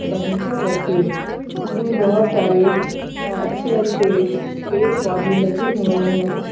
बगीचा जैसे उसमें बहोत सारे अच्छे अच्छे पेड़ पौधे लगे हुए हैं।